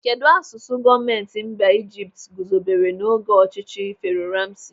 Kedụ asụsụ gọọmenti mba Ijipt guzobere n'oge ọchịchị Fero Ramsi?